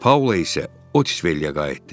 Paula isə Otsviliyə qayıtdı.